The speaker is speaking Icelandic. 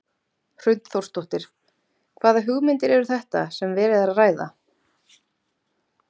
Hrund Þórsdóttir: Hvaða hugmyndir eru þetta sem verið er að ræða?